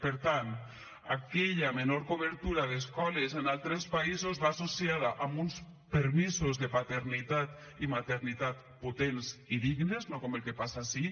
per tant aquella menor cobertura d’escoles en altres països va associada amb uns permisos de paternitat i maternitat potents i dignes no com el que passa ací